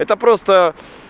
это просто